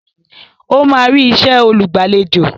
Ó máa rí isẹ́ olùgbàlejò